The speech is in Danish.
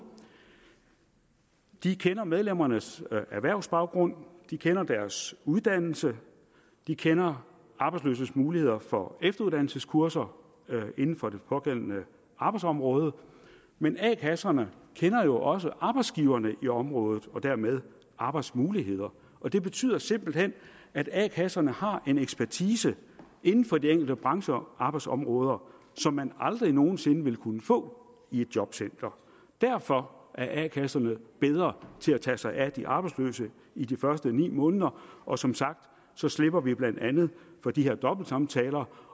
de kender medlemmernes erhvervsbaggrund de kender deres uddannelse de kender arbejdsløses muligheder for efteruddannelseskurser inden for det pågældende arbejdsområde men a kasserne kender jo også arbejdsgiverne i området og dermed arbejdsmulighederne og det betyder simpelt hen at a kasserne har en ekspertise inden for de enkelte brancher og arbejdsområder som man aldrig nogen sinde vil kunne få i et jobcenter derfor er a kasserne bedre til at tage sig af de arbejdsløse i de første ni måneder og som sagt slipper vi blandt andet for de her dobbeltsamtaler